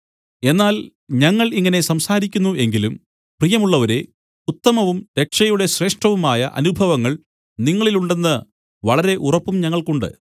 എന്നാൽ ഞങ്ങൾ ഇങ്ങനെ സംസാരിക്കുന്നു എങ്കിലും പ്രിയമുള്ളവരേ ഉത്തമവും രക്ഷയുടെ ശ്രേഷ്ഠവുമായ അനുഭവങ്ങൾ നിങ്ങളിലുണ്ടെന്ന് വളരെ ഉറപ്പും ഞങ്ങൾക്കുണ്ട്